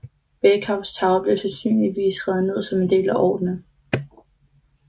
Bakehouse Tower blev sandsynligvis revet ned som en del af ordren